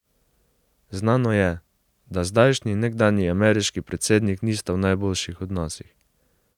Znano je, da zdajšnji in nekdanji ameriški predsednik nista v najboljših odnosih.